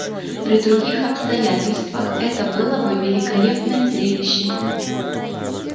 при других обстоятельствах это было бы великолепное зрелище